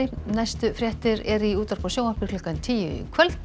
næstu fréttir eru í útvarpi og sjónvarpi klukkan tíu í kvöld